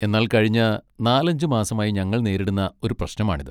എന്നാൽ കഴിഞ്ഞ നാല് അഞ്ച് മാസമായി ഞങ്ങൾ നേരിടുന്ന ഒരു പ്രശ്നമാണിത്.